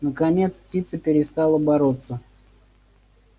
наконец птица перестала бороться